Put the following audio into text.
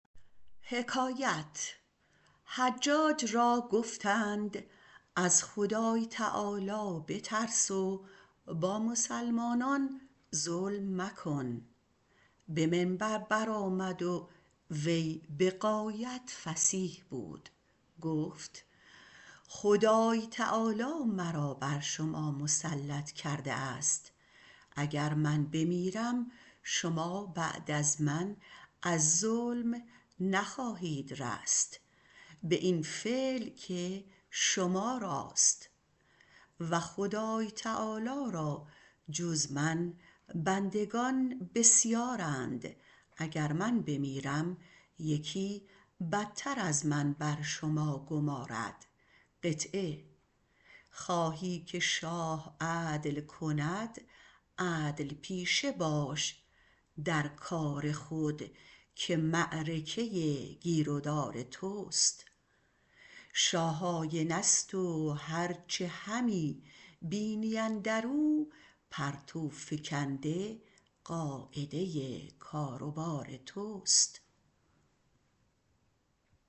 حجاج را گفتند از خدای بترس و با مسلمانان ظلم مکن به منبر برآمد و وی بغایت فصیح بود و گفت خدای تعالی مرا بر شما مسلط کرده است اگر من بمیرم شما بعد از من از ظلم نخواهید رست به این فعل که شما راست خدای تعالی را جز من بندگان بسیارند اگر من بمیرم یکی بتر از من بیاید خواهی که شاه عدل کند عدل پیشه باش در کار خود که معرکه گیر و دار توست شاه آینه ست و هرچه همی بینی اندر او پرتو فکنده قاعده کار و بار توست